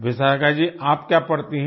विशाखा जी आप क्या पढ़ती हैं